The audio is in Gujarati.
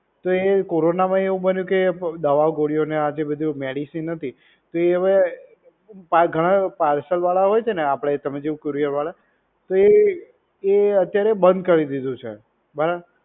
તો એ corona એવું બન્યું કે દવા ગોળીયો ને આ તે બધું medicine હતી તે હવે ઘણા parcel વાળા હોય છે ને આપડે તમે courier વાળા તે અત્યારે બંધ કરી દીધું છે બરાબર